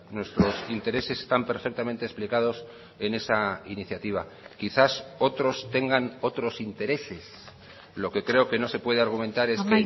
nuestros intereses están perfectamente explicados en esa iniciativa quizás otros tengan otros intereses lo que creo que no se puede argumentar es